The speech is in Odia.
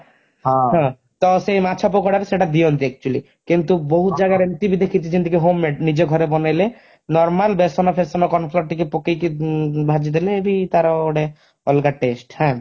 ହଁ ସେ ମାଛ ପକୋଡାରେ ସେଇଟା ଦିଅନ୍ତି actually କିନ୍ତୁ ବହୁତ ଜାଗାରେ ଏମିତି ବି ଦେଖିଛି ଯେମିତିକି homemade ନିଜ ଘରେ ବନେଇଲେ normal ବେସନ ଫେଶନ corn flour ଟିକେ ପକେଇକି ଭାଜିଦେଲେ ବି ତାର ଗୋଟେ ଅଲଗା taste ହାଁ